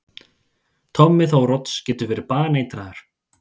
Tommi Þórodds getur verið baneitraður!